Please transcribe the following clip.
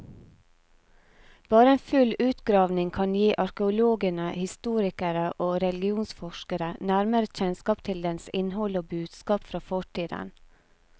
Bare en full utgravning kan gi arkeologene, historikere og religionsforskere nærmere kjennskap til dens innhold og budskap fra fortiden.